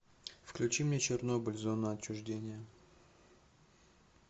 включи мне чернобыль зона отчуждения